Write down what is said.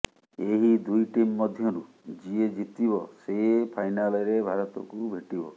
ଏହି ଦୁଇ ଟିମ୍ ମଧ୍ୟରୁ ଯିଏ ଜିତିବ ସେ ଫାଇନାଲରେ ଭାରତକୁ ଭେଟିବ